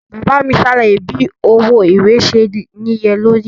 Baba mi ṣe alaye bi owo iwe ṣe niyelori.